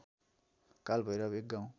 कालभैरव एक गाउँ